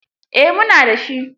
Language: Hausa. Eh mu na da shi.